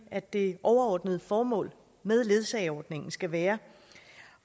at det overordnede formål med ledsageordningen skal være